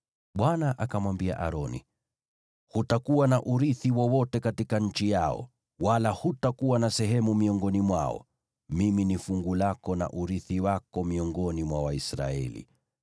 Bwana akamwambia Aroni, “Hutakuwa na urithi wowote katika nchi yao, wala hutakuwa na sehemu miongoni mwao; Mimi ni fungu lako na urithi wako miongoni mwa Waisraeli.